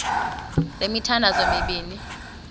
le mithandazo mibini